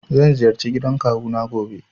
Zan ziyarci gidan kawu na gobe.